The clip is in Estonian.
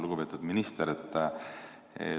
Lugupeetud minister!